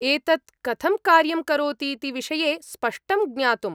एतत् कथं कार्यं करोतीति विषये स्पष्टं ज्ञातुम्।